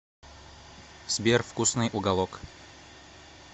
сбер вкусный уголок